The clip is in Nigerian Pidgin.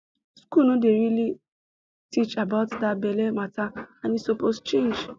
school no dey really teach about that belle matter and e suppose change